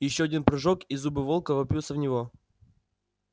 ещё один прыжок и зубы волка вопьются в него